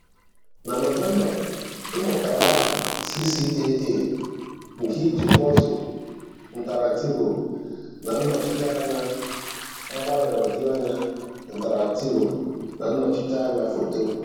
Na November ị mụtara aha CCAA nke i ji puzzle interactivo na Nnọchiteanya mgbaghoju anya interactivo na Nnochite anya foto